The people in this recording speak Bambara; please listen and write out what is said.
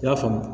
I y'a faamu